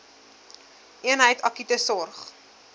eenheid akute sorg